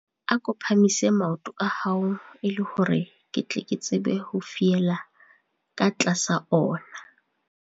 Ako phahamise maoto a hao e le hore ke tle ke tsebe ho fiela ka tlasa ona.